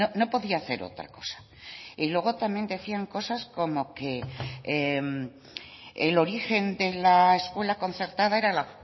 no podía hacer otra cosa y luego también decían cosas como que el origen de la escuela concertada era la